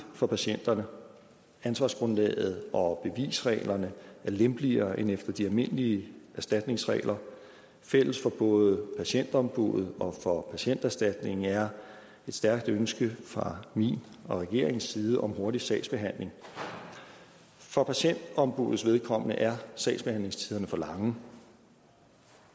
for patienterne ansvarsgrundlaget og bevisreglerne er lempeligere end efter de almindelige erstatningsregler fælles for både patientombuddet og for patienterstatningen er et stærkt ønske fra min og regeringens side om en hurtig sagsbehandling for patientombuddets vedkommende er sagsbehandlingstiderne for lange